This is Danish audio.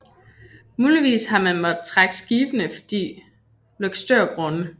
Muligvis har man måttet trække skibene forbi Løgstørgrunde